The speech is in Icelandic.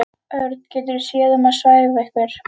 Örn getur séð um að svæfa ykkur.